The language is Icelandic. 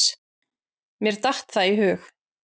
Mér datt það í hug.